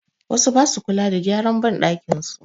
Wasu ba su kula da gyara banɗakin su.